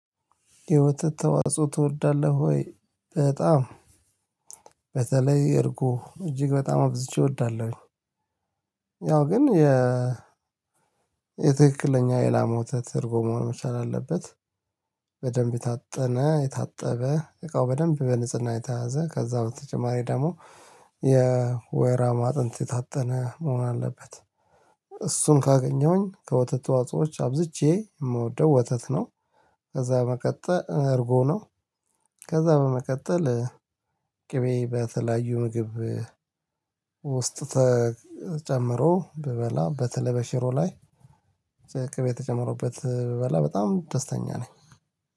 የወተት ተዋጽኦ ትወዳለህ ወይ? በጣም በተለይ እርጎ እጅግ በጣም አብዝቼ እወዳለሁኝ። ያው ግን የ የትክክለኛ የላም ወተት እርጎ መሆን መቻል አለበት። በደንብ የታጠነ የታጠበ እቃው በደንብ በንጽህና የተያዘ ከዛ በተጨማሪ ደግሞ የወይራ ማጥንት የታጠነ መሆን አለበት። እሱን ካገኘሁኝ ከወተት ተዋጽኦዎች አብዝቼ የምወደው ወተት ነው። ከዛ በመቀጠል እርጎ ነው። ከዛ በመቀጠል ቅቤ በተለያዩ ምግብ ውስጥ ተጨምሮ ብበላ በተለይ በሽሮ ላይ ቅቤ ተጨምሮበት ብበላ በጣም ደስተኛ ነኝ።